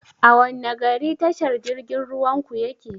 A wanne gari tashar jirgin ruwan ku yake?